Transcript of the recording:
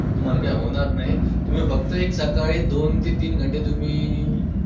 तुम्हांला काय होणार नाही. तुम्ही फक्त एक सकाळी दोन ते तीन घंटे तुम्ही.